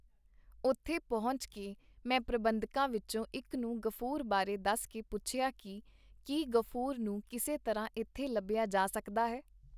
ਉੱਥੇ ਪਹੁੰਚ ਕੇ ਮੈਂ ਪ੍ਰਬੰਧਕਾਂ ਵਿੱਚੋਂ ਇੱਕ ਨੂੰ ਗ਼ਫੂਰ ਬਾਰੇ ਦੱਸ ਕੇ ਪੁੱਛਿਆ ਕੀ ਕੀ ਗ਼ਫੂਰ ਨੂੰ ਕਿਸੇ ਤਰ੍ਹਾਂ ਇੱਥੇ ਲੱਭਿਆ ਜਾ ਸਕਦਾ ਹੈ.